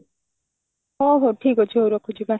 ହଁ ହଁ ଠିକ ଅଛି ହଉ ରଖୁଛି bye